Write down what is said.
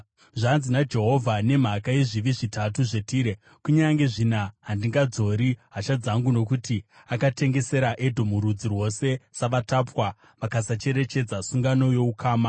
Zvanzi naJehovha: “Nemhaka yezvivi zvitatu zveTire, kunyange zvina handingadzori hasha dzangu. Nokuti akatengesera Edhomu rudzi rwose savatapwa, akasacherechedza sungano youkama,